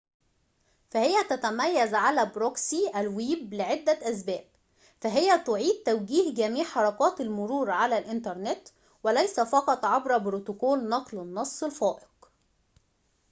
فهي تتميزعلى بروكسي الويب لعدة أسباب فهي تعيد توجيه جميع حركات المرور على الإنترنت وليس فقط عبر بروتوكول نقل النص الفائق